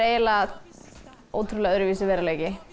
ótrúlega öðruvísi veruleiki